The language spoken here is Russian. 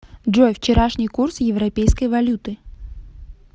джой вчерашний курс европейской валюты